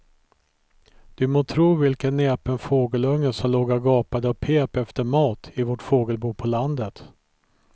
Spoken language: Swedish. Du må tro vilken näpen fågelunge som låg och gapade och pep efter mat i vårt fågelbo på landet.